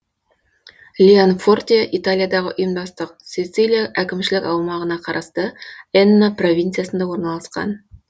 леонфорте италиядағы ұйымдастық сицилия әкімшілік аймағына қарасты энна провинциясында орналасқан